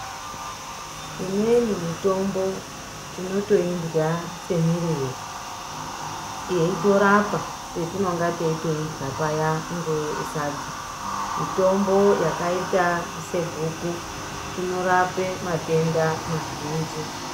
Imweni mitombo tinoto irya se mirivo yeito rapa patinonga teito irya payani nge sadza mitombo yakaita se guku inorape matenda ma zhinji.